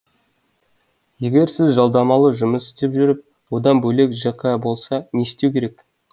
егер сіз жалдамалы жұмыс істеп жүріп одан бөлек жк болса не істеу керек